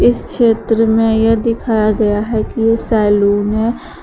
इस चित्र में यह दिखाया गया है कि ये सैलून है।